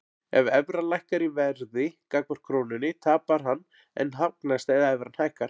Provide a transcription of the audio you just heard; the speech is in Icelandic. Ef evran lækkar í verði gagnvart krónunni tapar hann en hagnast ef evran hækkar.